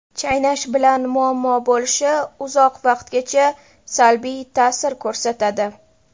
Chaynash bilan muammo bo‘lishi, uzoq vaqtgacha salbiy ta’sir ko‘rsatadi.